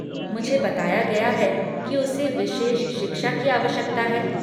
मुझे बताया गया है कि उसे विशेष शिक्षा की आवश्यकता है।